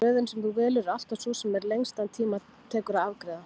Röðin sem þú velur er alltaf sú sem lengstan tíma tekur að afgreiða.